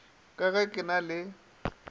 ka ge ke na le